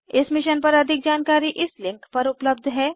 इस मिशन पर अधिक जानकारी इस लिंक पर उपलब्ध है